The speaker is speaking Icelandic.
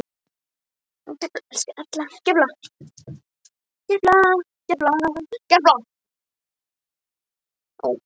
Gulir spænirnir sáldruðust niður við fætur hans.